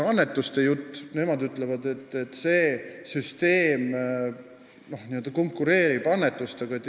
Veel on nad öelnud, et see süsteem konkureerib annetustega.